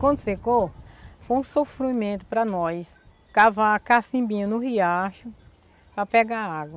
Quando secou, foi um sofrimento para nós cavar cassimbinho no riacho para pegar água.